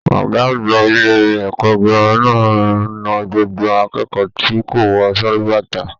Ọgá àgbà ilé ẹ̀kọ́ gírámà na gbogbo akẹ́kọ̀ọ́ tí kò wọ sálúbàtà.